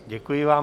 Děkuji vám.